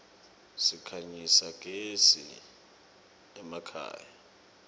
sikhanyisa gez iemakhaya